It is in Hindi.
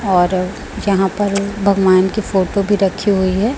और यहां पर भगवान की फोटो भी रखी हुई है।